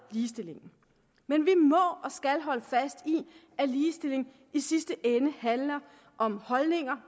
ligestillingen men vi må og skal holde fast i at ligestilling i sidste ende handler om holdninger